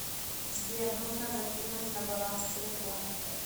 сбер нужно закинуть на баланс телефона